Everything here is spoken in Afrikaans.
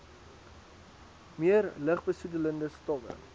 meer lugbesoedelende stowwe